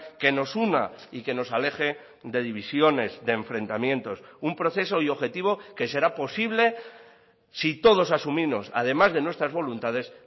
que nos una y que nos aleje de divisiones de enfrentamientos un proceso y objetivo que será posible si todos asumimos además de nuestras voluntades